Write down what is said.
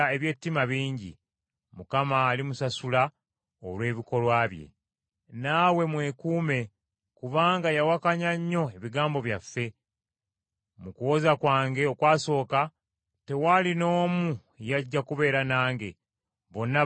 Mu kuwoza kwange okwasooka, tewaali n’omu yajja kubeera nange, bonna banjabulira. Nsaba Katonda ekyo kireme kubavunaanibwa.